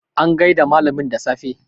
an gaida malamin da safe